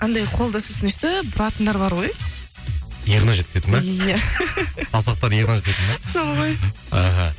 андай қолды сосын өстіп бұратындар бар ғой иығына жеткізетін бе иә саусақтарын иығына жететін бе сол ғой ыхы